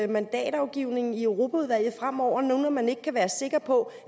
mandatafgivningen i europaudvalget fremover når man nu ikke kan være sikker på